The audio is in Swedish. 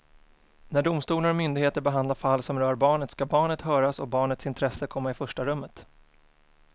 När domstolar och myndigheter behandlar fall som rör barnet ska barnet höras och barnets intresse komma i första rummet.